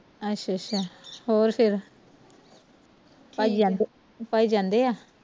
ਅੱਛਾ ਅੱਛਾ ਹੋਰ ਫਿਰ ਭਾਜੀ ਜਾਂਦੇ ਭਾਜੀ ਜਾਂਦੇ ਆਵੀ?